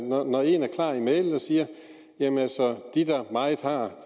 når en er klar i mælet og siger jamen altså de der meget har